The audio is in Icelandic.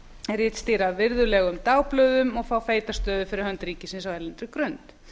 ritstýra virðulegum dagblöðum og fá feita stöðu fyrir hönd ríkisins á erlendri grund